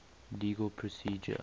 legal procedure